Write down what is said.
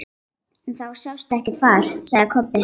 En það sást ekkert far, sagði Kobbi.